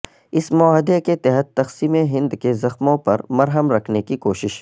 ا س معاہدے کے تحت تقسیم ہند کے زخموں پرمرہم رکھنے کی کوشش